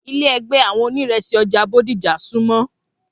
Ilé ègbé àwọn oníresì ọjà Bódìjà sunmọ